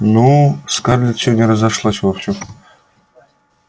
ну скарлетт сегодня разошлась вовсю